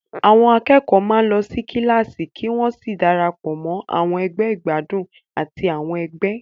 Àwọn akẹ́kọ̀ọ́ máa ń lọ sí kíláàsì kí wọ́n sì darapọ̀ mọ́ àwọn ẹgbẹ́ ìgbádùn àti àwọn ẹgbẹ́.